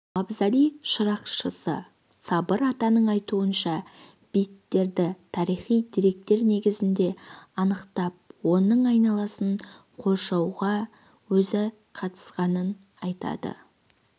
мавзолей шырақшысы сабыр ағаның айтуынша бейіттерді тарихи деректер негізінде анықтап оның айналасын қоршауға өзі қатысқанын айтады